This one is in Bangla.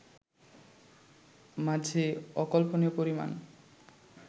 মাঝে অকল্পনীয় পরিমাণ